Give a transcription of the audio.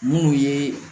Munnu ye